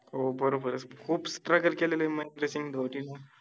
हो बरोबरय खूप struggle केलेलंय महेंद्रसिंग धोनीन